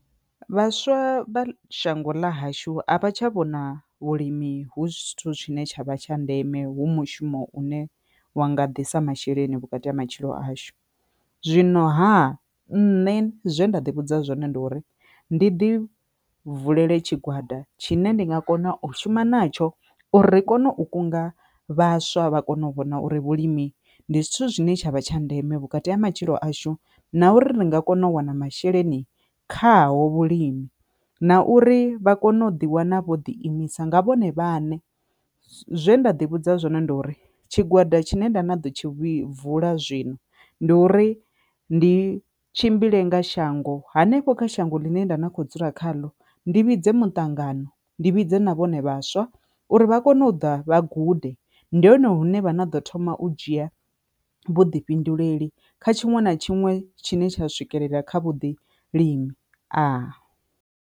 Vhaswa vha shango ḽa hashu a vha tsha vhona vhulimi hu zwithu tshine tshavha tsha ndeme hu mushumo une wa nga ḓisa masheleni vhukati ha matshilo ashu. Zwinoha nṋe zwe nda ḓi vhudza zwone ndi uri ndi ḓi vulele tshigwada tshine ndi nga kona u shuma natsho uri ri kone u kunga vhaswa vha kone u vhona uri vhulimi ndi zwithu zwine tshavha tsha ndeme vhukati ha matshilo ashu na uri ri nga kona u wana masheleni khaho vhulimi, na uri vha kone u ḓi wana vho ḓi imisa nga vhone vhaṋe. Zwe nda ḓi vhudza zwino ndi uri tshigwada tshine nda na ḓo tshi wi vula zwino ndi uri ndi tshimbile nga shango, hanefho kha shango ḽine nda na kho dzula kha ndi vhidze mutangano ndi vhidze na vhone vhaswa uri vha kone u ḓa vha gude ndi hone hune vha na ḓo thoma u dzhia vhuḓifhinduleli kha tshiṅwe na tshiṅwe tshine tsha swikelela kha vhuḓi limi aa.